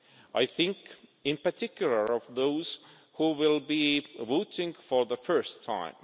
I think, in particular, of those who will be voting for the first time.